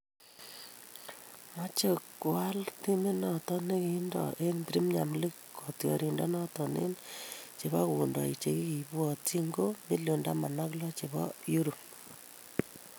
Mochei koal timinoto ne kiindo eng premier League kotioriendenoto eng chebokondok che kibuatchin ko million taman ak lo chebo Europe.